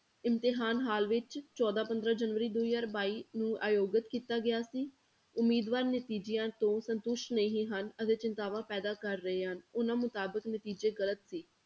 ਇਮਤਿਹਾਨ hall ਵਿੱਚ ਚੌਦਾਂ ਪੰਦਰਾਂ ਜਨਵਰੀ ਦੋ ਹਜ਼ਾਰ ਬਾਈ ਨੂੰ ਆਯੋਗਤ ਕੀਤਾ ਗਿਆ ਸੀ, ਉਮੀਦਵਾਰ ਨਤੀਜਿਆਂ ਤੋਂ ਸੰਤੁਸ਼ਟ ਨਹੀਂ ਹਨ ਅਤੇ ਚਿੰਤਾਵਾਂ ਪੈਦਾ ਕਰ ਰਹੇ ਹਨ, ਉਹਨਾਂ ਮੁਤਾਬਿਕ ਨਤੀਜੇ ਗ਼ਲਤ ਸੀ।